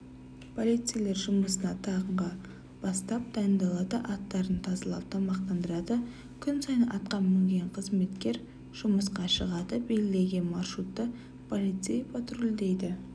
полицейлер жұмысына таңғы бастап дайындалады аттарын тазалап тамақтандырады күн сайын атқа мінген қызметкер жұмысқа шығады белгіленген маршрутты полицей патрульдейді